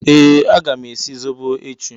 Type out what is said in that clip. Ee! Aga m esi zobo echi.